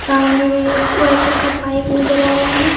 सामने में एक व्हाइट कलर का पाईप नजर आ रहा है।